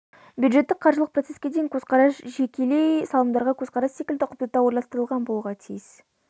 бюджеттік-қаржылық процеске деген көзқарас жекелей салымдарға көзқарас секілді ұқыпты да ойластырылған болуға тиіс